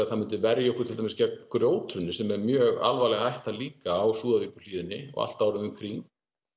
að það myndi verja okkur til dæmis gegn grjóthruni sem er mjög alvarleg hætta líka á Súðavíkurhlíðinni allt árið um kring